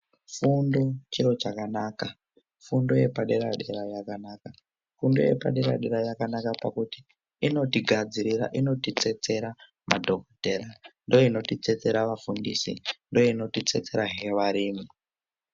Fundo chiro chakanaka fundo yepadera dera yakanaka fundo yepadera dera yakanaka pakuti inotigadsirira inotitsetsera madhokodhera ndoinotitsetsera vafundisi ndoinoti tsetserahe varimi.